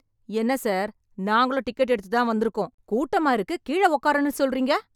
என்ன சார், நாங்களும் டிக்கெட் எடுத்துதான் வந்துருக்கோம்... கூட்டமா இருக்கு, கீழ உக்காருன்னு சொல்றீங்க...